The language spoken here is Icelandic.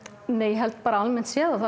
nei ég held að almennt séð